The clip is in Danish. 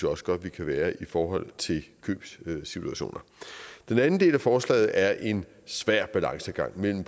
også godt vi kan være i forhold til købssituationer den anden del af forslaget er en svær balancegang mellem